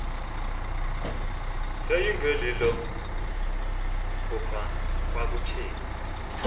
yayingelilo phupha kwakutheni